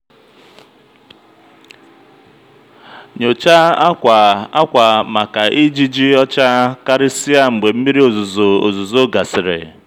nyochaa akwa akwa maka ijiji ọcha karịsịa mgbe mmiri ozuzo ozuzo gasịrị.